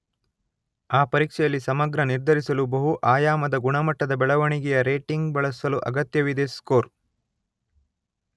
ಆ ಪರೀಕ್ಷೆಯಲ್ಲಿ ಸಮಗ್ರ ನಿರ್ಧರಿಸಲು ಬಹು ಆಯಾಮದ ಗುಣಮಟ್ಟದ ಬೆಳವಣಿಗೆಯ ರೇಟಿಂಗ್ ಬಳಸಲು ಅಗತ್ಯವಿದೆ ಸ್ಕೋರ್.